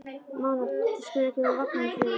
Mánadís, hvenær kemur vagn númer fjögur?